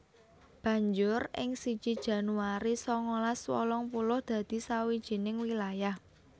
Banjur ing siji Januari sangalas wolung puluh dadi sawijining wilayah